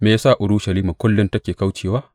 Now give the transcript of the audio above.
Me ya sa Urushalima kullum take kaucewa?